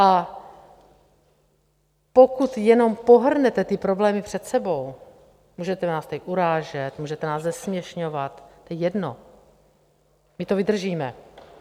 A pokud jenom pohrnete ty problémy před sebou - můžete nás tady urážet, můžete nás zesměšňovat, to je jedno, my to vydržíme.